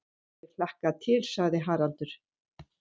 Ég hlakka til, sagði Haraldur.